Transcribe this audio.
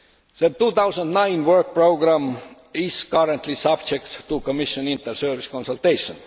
The 2009 work programme is currently subject to Commission inter service consultation.